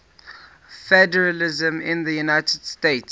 federalism in the united states